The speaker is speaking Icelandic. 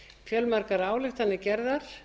fjölmargar ályktanir gerðar